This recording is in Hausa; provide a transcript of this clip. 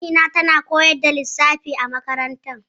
Amina tana koyar da lissafi a makaranta